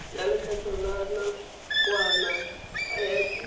ya lekgetho la nakwana irp